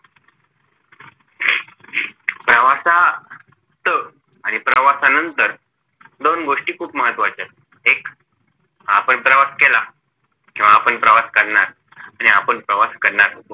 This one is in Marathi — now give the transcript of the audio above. प्रवासात आणि प्रवासानंतर दोन गोष्टी खूप महत्वाच्या एक आपण प्रवास केला किंव्हा आपण प्रवास करणार आणि आपण प्रवास करणार होतो